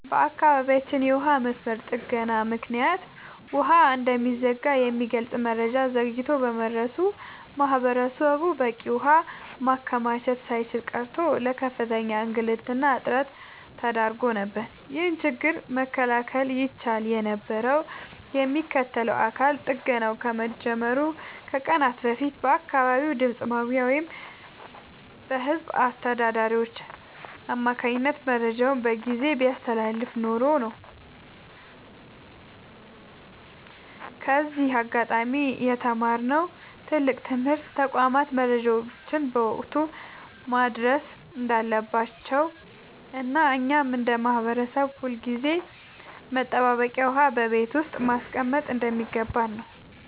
በአካባቢያችን የውሃ መስመር ጥገና ምክንያት ውሃ እንደሚዘጋ የሚገልጽ መረጃ ዘግይቶ በመድረሱ ማህበረሰቡ በቂ ውሃ ማከማቸት ሳይችል ቀርቶ ለከፍተኛ እንግልትና እጥረት ተዳርጎ ነበር። ይህንን ችግር መከላከል ይቻል የነበረው የሚመለከተው አካል ጥገናው ከመጀመሩ ከቀናት በፊት በአካባቢው ድምፅ ማጉያ ወይም በህዝብ አስተዳዳሪዎች አማካኝነት መረጃውን በጊዜ ቢያስተላልፍ ኖሮ ነው። ከዚህ አጋጣሚ የተማርነው ትልቅ ትምህርት ተቋማት መረጃን በወቅቱ ማድረስ እንዳለባቸውና እኛም እንደ ማህበረሰብ ሁልጊዜም መጠባበቂያ ውሃ በቤት ውስጥ ማስቀመጥ እንደሚገባን ነው።